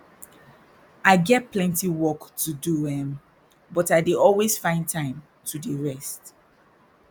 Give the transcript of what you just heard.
i get plenty work to do erm but i dey always find time to dey rest